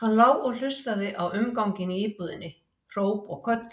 Hann lá og hlustaði á umganginn í íbúðinni, hróp og köll,